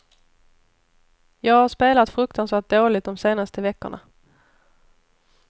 Jag har spelat fruktansvärt dåligt de senaste veckorna.